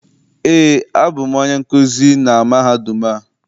Eé, abụ m onye nkuzi na mahadum a.